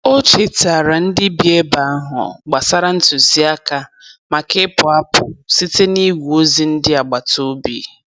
O chetaara ndị bi ebe ahụ gbasara ntụziaka maka ịpụ apụ site n'igwe ozi ndị agbataobi.